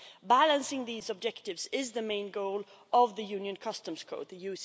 Balancing these objectives is the main goal of the Union Customs Code The